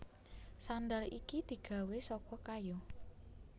Sandal iki digawé saka kayu